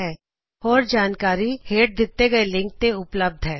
ਇਸ ਮਿਸ਼ਨ ਬਾਰੇ ਹੋਰ ਜਾਣਕਾਰੀ ਹੇਠ ਵਿਖਾਏ ਗਏ ਲਿੰਕ ਤੇ ਉਪਲੱਬਧ ਹੈ